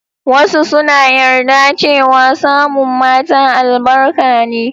Wasu suna yarda cewa samun mata albarka ne.